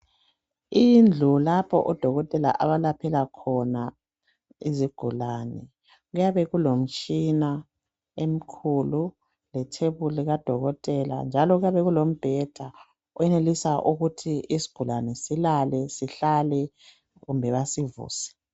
Indlu lapha odokotela abelaphela khona izigulani kuyabe kulomtshina emikhulu lethebuli kadokotela njalo kuyabe kulombheda oyenelisa ukuthi isigulani silale sihlale kumbe basivuse